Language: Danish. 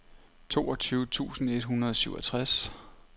toogtyve tusind et hundrede og syvogtres